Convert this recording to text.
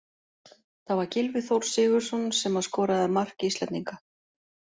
Það var Gylfi Þór Sigurðsson sem að skoraði mark Íslendinga.